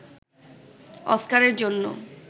অস্কারের জন্য